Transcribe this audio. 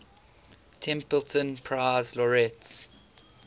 templeton prize laureates